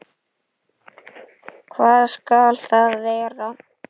Hvað skal það vera?